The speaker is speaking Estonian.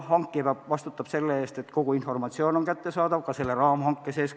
Hankija vastutab selle eest, et kogu informatsioon oleks kõigile pakkujatele kättesaadav, ka raamhanke sees.